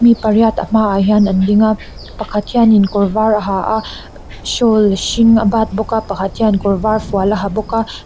mi pariat a hmaah hian an ding a pakhat hianin kawr var a ha a shawl hring a bat bawk a pakhat hian kawr var fual a ha bawk a.